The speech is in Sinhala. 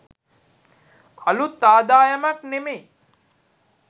අළුත් ආදායමක් නෙමෙයි